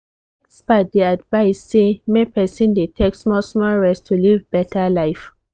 experts dey advise say make person dey take small-small rest to live better life.